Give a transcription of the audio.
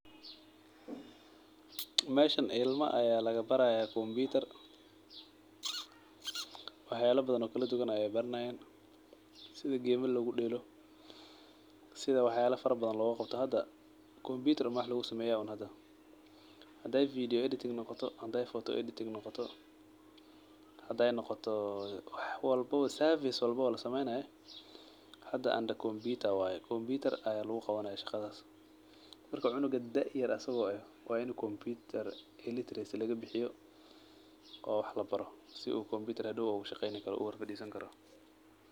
Meeshan ilmo aya laggabaraya kombutar wax yalo fara badan aya laabaray sida gamal logudelo sida wax yalo farrra badan lousameyo hda kombbuttar uma wax luusameya hadey vedio editing photo editing noqoto hadey noqoto safis walbo oo lasameynayo hda kombutar aya luguqawanaya shaqadas marka cunuga asago daa yar ah wa inii lagabixi computer illiteracy lagabixiyo oo wax labaro sii uu hadow kombutar hadow ogushaqeyni karo uu uhor farisani karo.